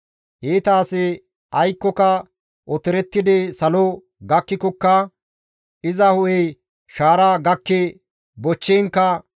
Iita asi aykkoka otorettidi salo gakkikokka, iza hu7ey shaara gakki bochchiinkka,